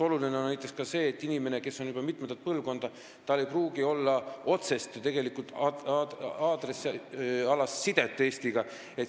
Oluline on ka näiteks see, et inimestel, kelle pere on juba mitu põlvkonda eemal elanud, ei pruugi olla otsest aadressialast sidet Eestiga.